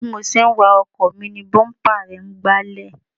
Bí mo ṣe ń wa ọkọ̀ mi ni búḿpà rẹ̀ ń gbálẹ̀